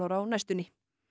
á næstunni